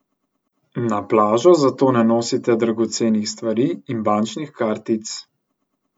Na plažo zato ne nosite dragocenih stvari in bančnih kartic.